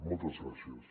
moltes gràcies